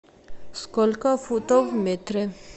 сколько футов в метре